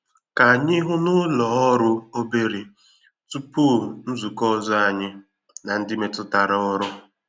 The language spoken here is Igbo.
Ka anyị hụ ná ụlọ òrụ́ òbèrè tupu nzukọ ọzọ anyị na ndị metụtara ọrụ.